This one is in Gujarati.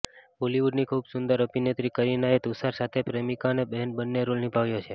બોલીવુડની ખુબ સુંદર અભિનેત્રી કરીનાએ તૂષાર સાથે પ્રેમિકા અને બહેન બન્ને રોલ નિભાવ્યા છે